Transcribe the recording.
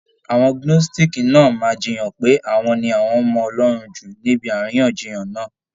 Àwọn Gnóstìkì náà máa jiyàn pé àwọn ni àwọn mọ Ọlọ́run jù níbi àríyànjiyàn náà.